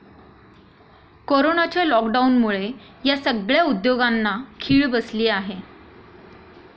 कोरोनाच्या लॉक डाऊनमुळे या सगळय़ा उद्योगांना खिळ बसली आहे.